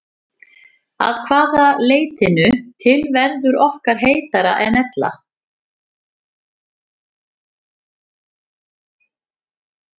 Að því leytinu til verður okkur heitara en ella.